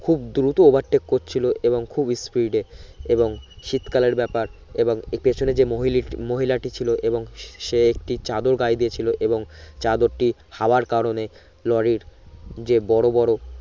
খুব দ্রুতো overtake করছিলো এবং খুব speed এ এবং শীত কালের ব্যাপার এবং পিছনে যে মহিলিট মহিলাটি ছিলো এবং সে একটি চাদর গায়ে দিয়ে ছিলো এবং চাদরটি হাওয়ার কারণে লরির যে বড় বড়